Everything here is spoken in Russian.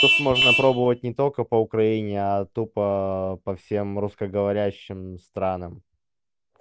то есть можно пробовать не только по украине а тупо а по всем русскоговорящим странам